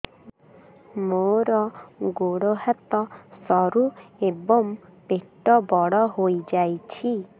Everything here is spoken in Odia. ମୋର ଗୋଡ ହାତ ସରୁ ଏବଂ ପେଟ ବଡ଼ ହୋଇଯାଇଛି